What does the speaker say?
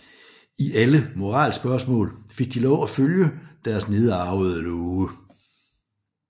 I alle moralspørgsmål fik de lov til at følge deres nedarvede love